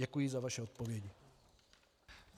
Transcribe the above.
Děkuji za vaše odpovědi.